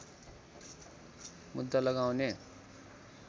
मुद्दा लगाउने